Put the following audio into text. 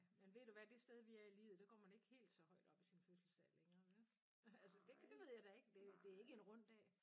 Men ved du hvad det sted vi er i livet der går man ikke helt så højt op i sin fødselsdag længere vel. Altså det det ved jeg da ikke det det er ikke en rund dag?